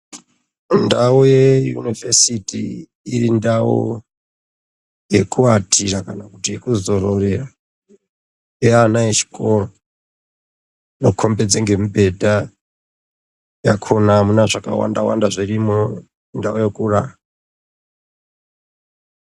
Ndawu yeyunivhesiti iri ndau yekuatira kana kuti yekuzororera yeana echikoro, inokombedza ngemibhedha yakona, amuna zvakawanda-wanda zvirimo ,ndawu yekurara.